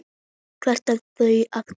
Hvaðan eru þau að koma?